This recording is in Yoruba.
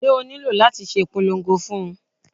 Ṣé o nílò láti ṣe ìpolongo fún un?